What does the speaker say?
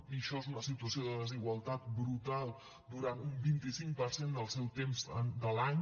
i això és una situació de desigualtat brutal durant un vint cinc per cent del seu temps de l’any